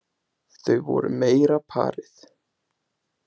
Þau voru meira parið.